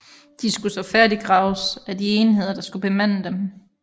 De skulle så færdiggraves af de enheder der skulle bemande dem